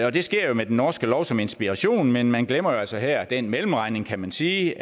og det sker med den norske lov som inspiration men man glemmer jo altså her den mellemregning kan man sige